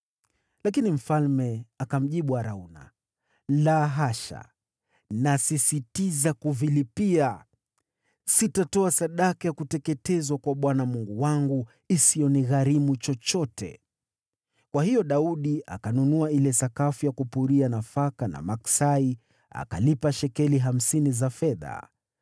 Lakini mfalme akamjibu Arauna, “La hasha, nasisitiza kuvilipia. Sitatoa sadaka ya kuteketezwa kwa Bwana Mungu wangu isiyonigharimu chochote.” Kwa hiyo Daudi akanunua ile sakafu ya kupuria nafaka na maksai, akazilipia shekeli hamsini za fedha.